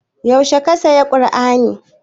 Yaushe ka saya kur'ani?